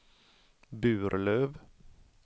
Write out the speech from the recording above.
Burlöv